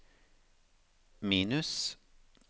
minus